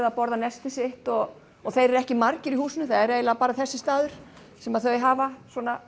að borða nestið sitt og þeir eru ekki margir hér í húsinu það er eiginlega bara þessi staður sem þau hafa